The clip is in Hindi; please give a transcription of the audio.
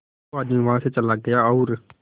वो आदमी वहां से चला गया और